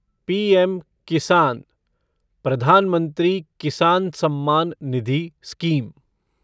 PM किसान प्रधान मंत्री किसान सम्मान निधि स्कीम